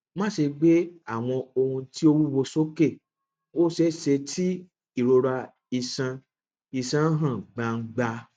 má ṣe gbe awọn ohun ti o wuwo soke o ṣeeṣe ti irora iṣan iṣan han gbangba